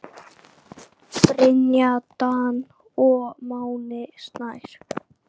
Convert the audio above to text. Brynja Dan og Máni Snær.